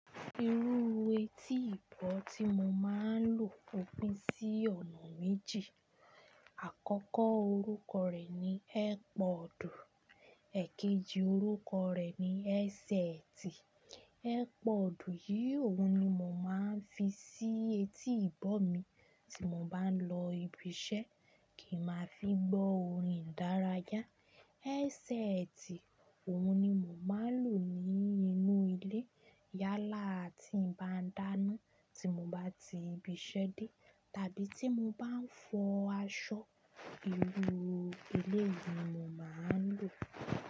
Irú etí ìbọ̀ tí mo máa ń lò o pin sí ọ̀nà méjì. Àkọ́kọ́ orúkọ rẹ̀ ni Airpod, èkejì orúkọ rẹ̀ ni headset. Airpod yìí òun ni mo máa ń fi sí etí ìbọ̀ mi tí mo bá ń lọ ibi iṣẹ́ kí ma fi gbọ́ orin dárayá. Headset òun ni mo máa ń lò ní inú ilé yálà tí n bá dáná tí mo bá ti ibi iṣẹ́ dé tàbí tí mo bá ń fọ aṣọ, irú éléyìí ni mo máa ń lò.